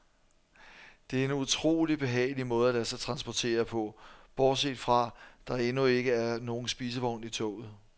Det er en utrolig behagelig måde at lade sig transportere på, bortset fra, der endnu ikke er nogen spisevogn i toget.